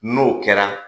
N'o kɛra